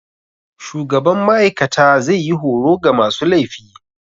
Shugaban ma'aikata zai yi horo ga masu laifi.